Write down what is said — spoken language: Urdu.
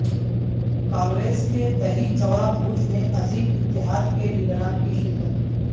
کانگریس کے دہی چوڑا بھوج میں عظیم اتحاد کے لیڈران کی شرکت